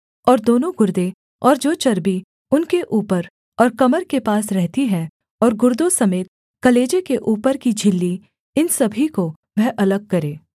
और दोनों गुर्दे और जो चर्बी उनके ऊपर और कमर के पास रहती है और गुर्दों समेत कलेजे के ऊपर की झिल्ली इन सभी को वह अलग करे